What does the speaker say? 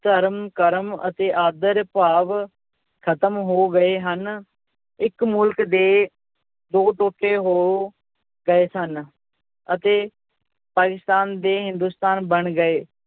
ਧਰਮ ਕਰਮ ਅਤੇ ਆਦਰ ਭਾਵ ਖਤਮ ਹੋ ਗਏ ਹਨ, ਇੱਕ ਮੁਲਕ ਦੇ ਦੋ ਟੋਟੇ ਹੋ ਗਏ ਸਨ ਅਤੇ ਪਾਕਿਸਤਾਨ ਤੇ ਹਿੰਦੁਸਤਾਨ ਬਣ ਗਏ।